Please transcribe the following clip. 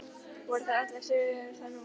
Voru þar allir þögulir þá nótt.